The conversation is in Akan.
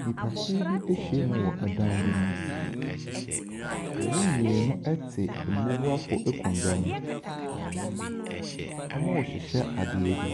Nnipakuw bi ahyia mu wɔ dan bi mu. Emu mmienu ɛte mmubuafo akonnwa bi mu. Wɔrehyehyɛ adeɛ bi.